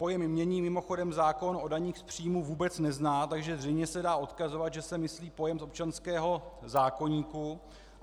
Pojem jmění mimochodem zákon o daních z příjmu vůbec nezná, takže zřejmě se dá odkazovat, že se myslí pojem z občanského zákoníku.